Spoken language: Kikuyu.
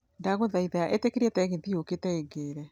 Ndagũthaitha ĩtĩkĩria tegithĨ yũkĩte ĩingĩre